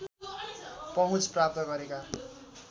पहुँच प्राप्त गरेका